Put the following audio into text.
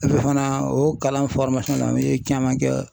fana o kalan u ye caman kɛ